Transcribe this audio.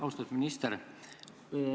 Austatud minister!